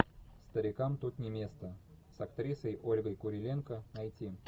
старикам тут не место с актрисой ольгой куриленко найти